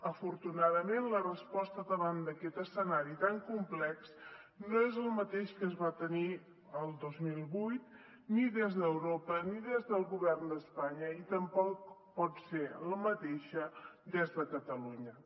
afortunadament la resposta davant d’aquest escenari tan complex no és el mateix que es va tenir el dos mil vuit ni des d’europa ni des del govern d’espanya ni tampoc pot ser la mateixa des de catalunya